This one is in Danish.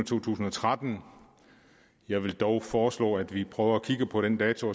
to tusind og tretten jeg vil dog foreslå at vi prøver at kigge på den dato